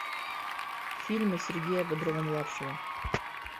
фильмы сергея бодрова младшего